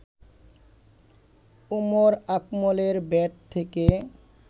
উমর আকমলের ব্যাট থেকে